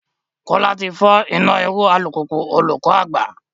Kola ti fọ ina iru u alupupu olukọ agba